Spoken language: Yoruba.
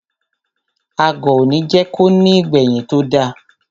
Agọ̀ òní jẹ́ ko ní ìgbẹ̀yìn tó da.